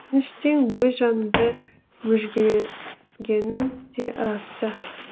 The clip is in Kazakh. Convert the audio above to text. өкініштен өз жанымды мүжгілегенім де рас ты